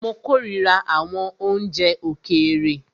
Mó kòrira àwọn oúnjẹ òkèèrè.